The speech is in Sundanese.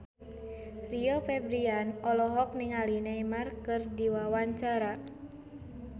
Rio Febrian olohok ningali Neymar keur diwawancara